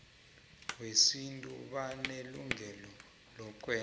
wesintu banelungelo lokwenza